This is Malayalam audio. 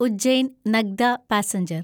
ഉജ്ജൈൻ നഗ്ദ പാസഞ്ചർ